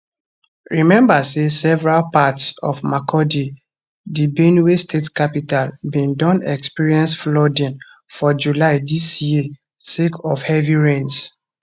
remember say several parts of makurdi di benue state capital bin don experience flooding for july dis year sake of heavy rains